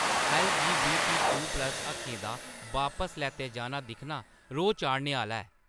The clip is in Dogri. ऐल्लजीबीटीक्यू प्लस हक्कें दा बापस लैता जाना दिक्खना रोह् चाढ़ने आह्‌ला ऐ।